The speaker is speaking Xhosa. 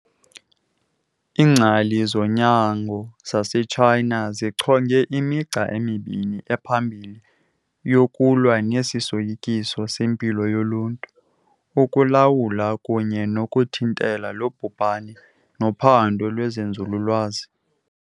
Iingcali zonyango zase-Tshayina zichonge, imigca emibini ephambili yokulwa nesi soyikiso sempilo yoluntu - Ukulawula kunye nokuthintela lo bhubhane nophando lwezenzululwazi.